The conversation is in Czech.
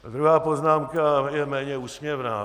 Druhá poznámka je méně úsměvná.